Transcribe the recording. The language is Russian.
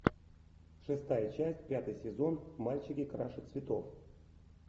шестая часть пятый сезон мальчики краше цветов